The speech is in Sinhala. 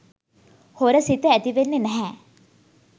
හොර සිත ඇතිවෙන්නේ නැහැ.